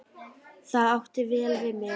Það átti vel við mig.